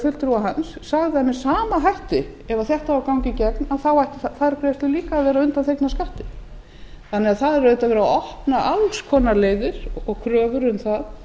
sama hætti ef þetta á að ganga í gegn þá ættu þær greiðslur líka að vera undanþegnar skatti það er því auðvitað verið að opna á alls konar leiðir og kröfur um það